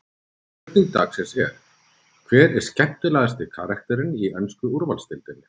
Spurning dagsins er: Hver er skemmtilegasti karakterinn í ensku úrvalsdeildinni?